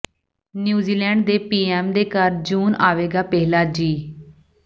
New Zealand ਦੀ PM ਦੇ ਘਰ ਜੂਨ ਆਵੇਗਾ ਪਹਿਲਾ ਜੀਅ